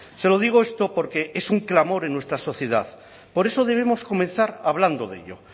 se lo digo esto porque es un clamor en nuestra sociedad por eso debemos comenzar hablando de ello